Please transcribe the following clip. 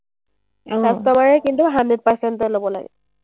customer এ কিন্তু hundred percent তে ল’ব লাগে।